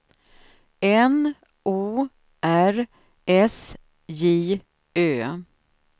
N O R S J Ö